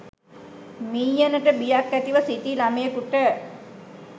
මීයනට බියක් ඇතිව සිටි ළමයකුට